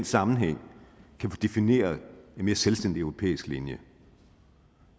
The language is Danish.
sammenhæng kan få defineret en mere selvstændig europæisk linje